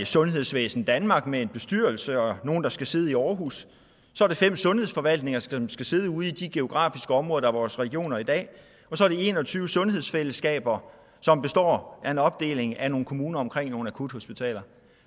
sundhedsvæsen danmark med en bestyrelse og nogle der skal sidde i aarhus fem sundhedsforvaltninger som skal sidde ude i de geografiske områder der er vores regioner i dag og så en og tyve sundhedsfællesskaber som består af en opdeling af nogle kommuner omkring nogle akuthospitaler